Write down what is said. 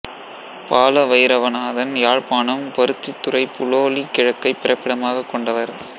பால வயிரவநாதன் யாழ்ப்பாணம் பருத்தித்துறை புலோலி கிழக்கைப் பிறப்பிடமாகக் கொண்டவர்